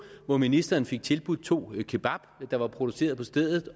hvor ministeren fik tilbudt to kebab der var produceret på stedet